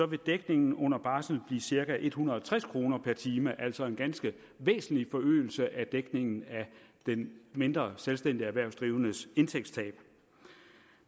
vil dækningen under barsel blive cirka en hundrede og tres kroner per time altså en ganske væsentlig forøgelse af dækningen af den mindre selvstændige erhvervsdrivendes indtægtstab